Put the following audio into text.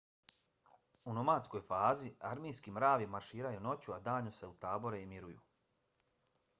u nomadskoj fazi armijski mravi marširaju noću a danju se utabore i miruju